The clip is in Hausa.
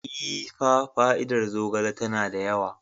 Ee, fa fa'ida zogale tana da yawa.